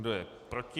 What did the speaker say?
Kdo je proti?